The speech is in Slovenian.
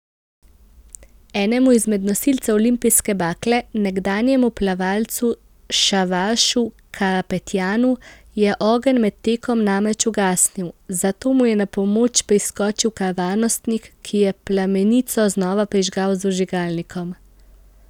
Enemu izmed nosilcev olimpijske bakle, nekdanjemu plavalcu Šavaršu Karapetjanu, je ogenj med tekom namreč ugasnil, zato mu je na pomoč priskočil kar varnostnik, ki je plamenico znova prižgal z vžigalnikom.